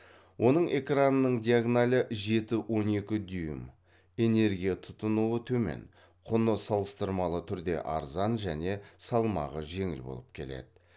оның экранының диагоналі жеті он екі дюйм энергия тұтынуы төмен құны салыстырмалы түрде арзан жөне салмағы жеңіл болып келеді